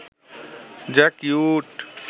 যা কিউট